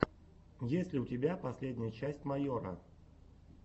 есть ли у тебя последняя часть майора